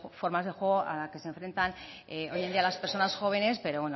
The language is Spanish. formas de juego a la que se enfrentan hoy en día las personas jóvenes pero